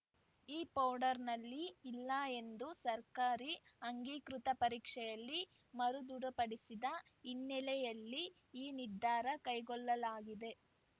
ಈ ಪೌಡರ್‌ನಲ್ಲಿ ಇಲ್ಲ ಎಂದು ಸರ್ಕಾರಿ ಆಂಗೀಕೃತ ಪರೀಕ್ಷೆಯಲ್ಲಿ ಮರುದೃಢಪಡಿಸಿದ ಹಿನ್ನೆಲೆಯಲ್ಲಿ ಈ ನಿರ್ಧಾರ ಕೈಗೊಳ್ಳಲಾಗಿದೆ